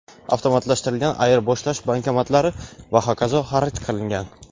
avtomatlashtirilgan ayirboshlash bankomatlari va hokazo) xarid qilingan.